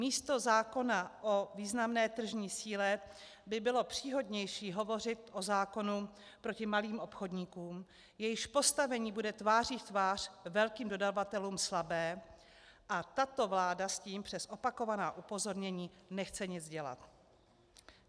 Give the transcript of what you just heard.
Místo zákona o významné tržní síle by bylo příhodnější hovořit o zákonu proti malým obchodníkům, jejichž postavení bude tváří v tvář velkým dodavatelům slabé, a tato vláda s tím přes opakovaná upozornění nechce nic dělat.